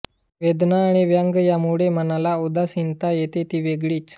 वेदना आणि व्यंग यामुळे मनाला उदासीनता येते ती वेगळीच